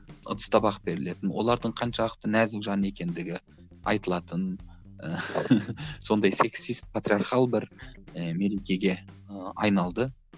ыдыс табақ берілетін олардың қаншалықты нәзік жан екендігі айтылатын сондай сексист патриархал бір ііі мерекеге і айналды